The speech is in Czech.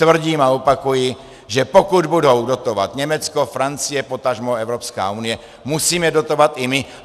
Tvrdím a opakuji, že pokud budou dotovat Německo, Francie, potažmo Evropská unie, musíme dotovat i my.